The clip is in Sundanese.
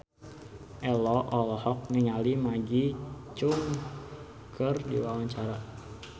Ello olohok ningali Maggie Cheung keur diwawancara